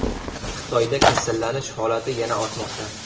Xitoyda kasallanish holati yana ortmoqda.